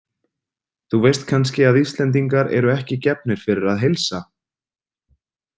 Þú veist kannski að Íslendingar eru ekki gefnir fyrir að heilsa?